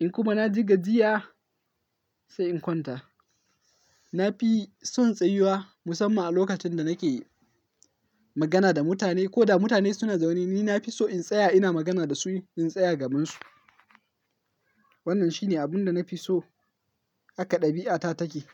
In kuma na ji gajiya, sai in kwanta. Na fi son tsayuwa musamman a lokacin da nake magana da mutane ko da mutane suna zaune, ni na fi so in tsaya ina magana da su, in tsaya gabansu. Wannan shi ne abun da na fi so haka ɗabi'ata take.